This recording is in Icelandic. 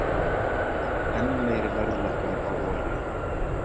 Enn meiri verðlækkun á olíu